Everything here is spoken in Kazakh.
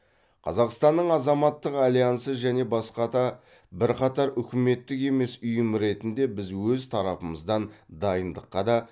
қазақстанның азаматтық альянсы және басқа да бірқатар үкіметтік емес ұйым ретінде біз өз тарапымыздан дайындыққа да